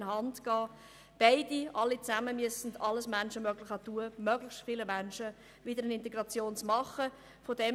Beide müssen alles ihnen Mögliche tun, um die Menschen wieder in den Arbeitsmarkt zu integrieren.